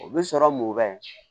U bɛ sɔrɔ mun kɛ